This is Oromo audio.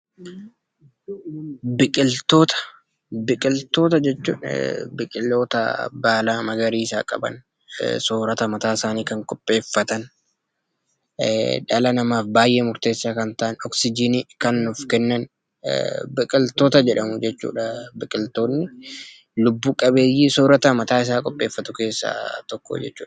Biqiltoota jechuun biqiloota baala magariisaa qaban, soorata mataa isaanii kan qopheeffatan, dhala namaaf baay'ee murteessaa kan ta'an, oksijinii kan nuuf kennan biqiltoota jedhamu jechuudha. Biqiltoonni lubbuu qabeeyyii soorata mataa isaa qopheeffatu keessaa tokko jechuudha.